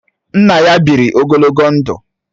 Nna ya bịịri ogologo ndụ.